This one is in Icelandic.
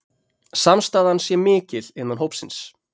Samstaðan sé mikil innan hópsins